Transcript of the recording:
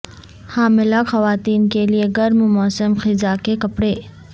حاملہ خواتین کے لئے گرم موسم خزاں کے کپڑے